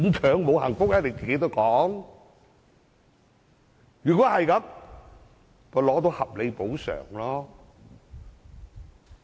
若然如此，倒不如拿取合理補償。